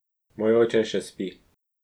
Moj oče še spi.